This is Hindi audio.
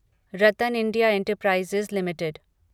RattanIndia enterprises limited